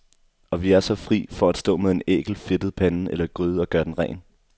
Og vi er så fri for at stå med en ækel, fedtet pande eller gryde og gøre den ren.